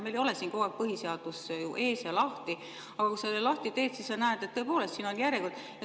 Meil ei ole siin kogu aeg põhiseadus ju ees lahti, aga kui sa selle lahti teed, siis sa näed, et tõepoolest siin on järjekord.